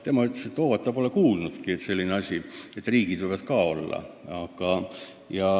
Tema ütles, et ta pole kuulnudki, et riigid võivad ka lepinguosalised olla.